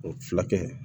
O fulakɛ